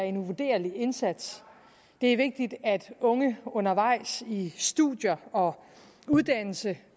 en uvurderlig indsats det er vigtigt at unge undervejs i studier og uddannelse